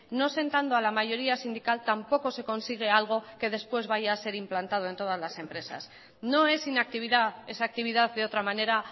no sentando a la mayoría sindical tampoco se consigue algo que después vaya a ser implantado en todas las empresas no es inactividad esa actividad de otra manera